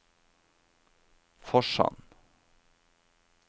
Forsand